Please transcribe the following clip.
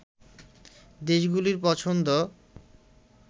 দেশগুলির পছন্দ